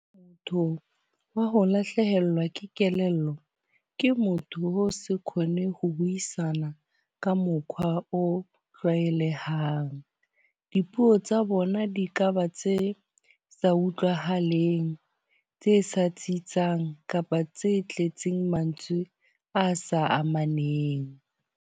wa ho lahlehelwa ke kelello ke motho. Ke motho wa ho se khone ho buisana ka mokhwa o tlwaelehang. Dipuo tsa bona di kaba tse sa utlwahaleng, tse sa tsitsang kapa tse tletseng mantswe a sa amaneng.